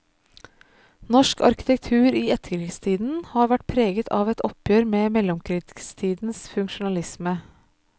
Norsk arkitektur i etterkrigstiden har vært preget av et oppgjør med mellomkrigstidens funksjonalisme.